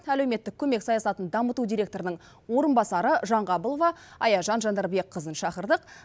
әлеуметтік көмек саясатын дамыту директорының орынбасары жаңғабылова аяжан жандарбекқызын шақырдық